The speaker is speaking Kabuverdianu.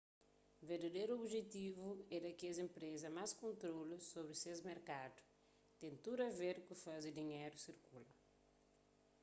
verdaderu objetivu é da kes enpresa más kontrolu sobri ses merkadu ten tudu a ver ku faze dinheru sirkula